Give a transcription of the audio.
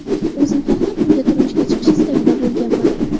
O‘zim xohlab unga turmushga chiqish istagida bo‘lganman.